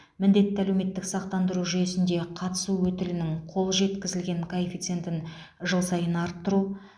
міндетті әлеуметтік сақтандыру жүйесінде қатысу өтілінің қол жеткізілген коэффициентін жыл сайын арттыру